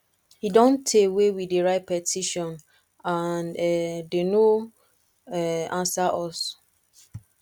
e don tey wey we dey write petition and um dey no um answer us